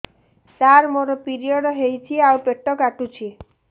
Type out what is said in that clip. ସାର ମୋର ପିରିଅଡ଼ ହେଇଚି ଆଉ ପେଟ କାଟୁଛି